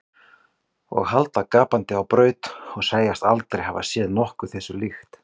Og halda gapandi á braut og segjast aldrei hafa séð nokkuð þessu líkt.